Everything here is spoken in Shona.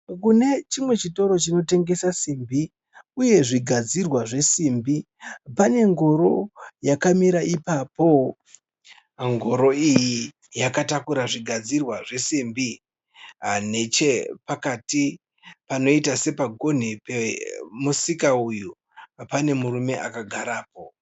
Kune chimwe chitoro chinotengesa simbi uye zvigadzirwa zvesimbi pane ngoro yakamira ipapo. Ngoro iyi yakatakura zvigadzirwa zvesimbi. Nechepakati panoita sepagonhi pemusika uyu pane murume akagarapo.